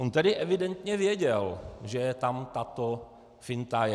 On tedy evidentně věděl, že tam tato finta je.